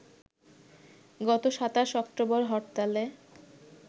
গত ২৭ অক্টোবর হরতালে